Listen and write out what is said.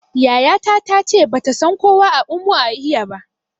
Yaya ta ta ce bata san kowa a Umuahia ba